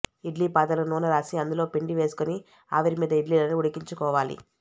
ఇడ్లీ పాత్రలకి నూనె రాసి అందులో పిండి వేసుకుని ఆవిరిమీద ఇడ్లీలని ఉడికించుకోవాలి